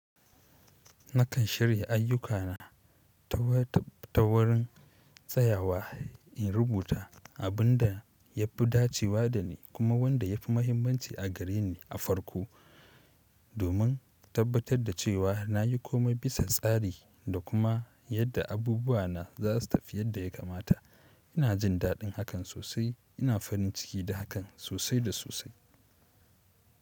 Nakan shirya ayyuka na, ta wurin tsayawa in rubuta abin da yafi dacewa dani, kuma wanda yafi muhimmanci a gareni a farko. Domin tabbatar da cewa nayi komai bisa tsari da kuma yadda abubuwana za su tafi yadda ya kamata. Ina jin daɗin hakan sosai. Ina farin ciki da hakan sosai da sosai.